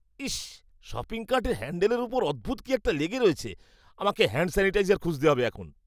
ইস, shopping কার্টের হ্যাণ্ডেলের উপর অদ্ভুত কি একটা লেগে রয়েছে। আমাকে হ্যাণ্ড স্যানিটাইজার খুঁজতে হবে এখন।